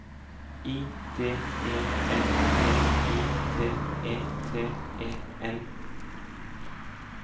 I D E N T I T E T E N